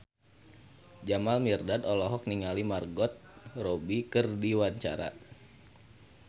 Jamal Mirdad olohok ningali Margot Robbie keur diwawancara